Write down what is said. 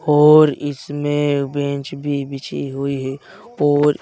और इसमे बेंच भी बिछी हुई है और--